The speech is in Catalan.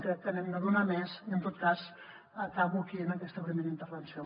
crec que n’hem de donar més i en tot cas acabo aquí en aquesta primera intervenció